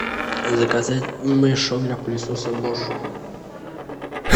заказать мешок для пылесоса бош